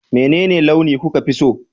menene launi kuka fi so?